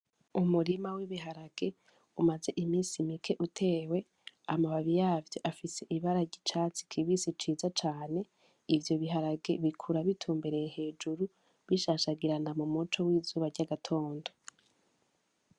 Umurima w'ibiharage umaze imisi mike utewe amababi yavyo afise ibararya icatsi kibisi ciza cane ivyo biharage bikura bitumbereye hejuru bishashagirana mu muco w'izuba ry'agatondo.